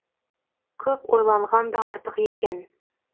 көп ойланған да артық екен